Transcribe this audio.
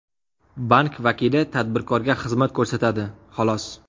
Bank vakili tadbirkorga xizmat ko‘rsatadi, xolos.